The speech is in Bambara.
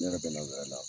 Ne yɛrɛ bɛ na wɛrɛ la